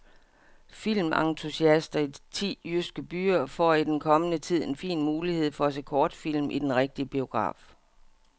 Filmentusiaster i ti jyske byer får i den kommende tid en fin mulighed for at se kortfilm i den rigtige biograf.